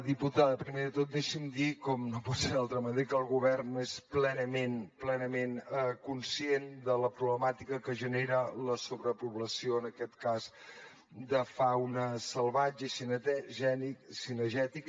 diputada primer de tot deixi’m dir com no pot ser d’altra manera que el govern és plenament plenament conscient de la problemàtica que genera la sobrepoblació en aquest cas de fauna salvatge i cinegètica